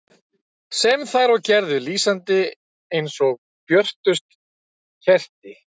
Sem þær og gerðu, lýsandi eins og björtust kerti.